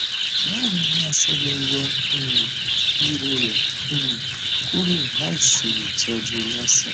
báwo ni a ṣe le yọ um ìrọrẹ um kúrò láìṣe ìtọjú cs] laser